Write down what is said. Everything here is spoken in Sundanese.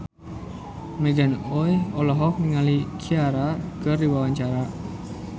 Morgan Oey olohok ningali Ciara keur diwawancara